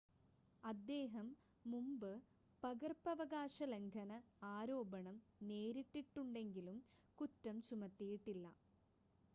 അദ്ദേഹം മുമ്പ് പകർപ്പവകാശ ലംഘന ആരോപണം നേരിട്ടിട്ടുണ്ടെങ്കിലും കുറ്റം ചുമത്തിയിട്ടില്ല